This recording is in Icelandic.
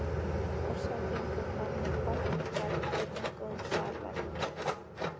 Árshátíðin fór fram með pomp og prakt í rúmgóðum salarkynnum